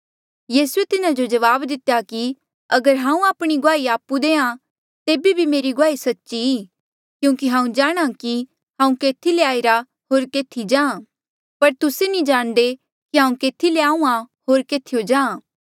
यीसूए तिन्हा जो जवाब दितेया कि अगर हांऊँ आपणी गुआही आपु देहां तेबे बी मेरी गुआही सच्ची ई क्यूंकि हांऊँ जाणहां कि हांऊँ केथी ले आईरा होर केथी जाहाँ पर तुस्से नी जाणदे कि हांऊँ केथी ले आहूँआं या केथीयो जाहाँ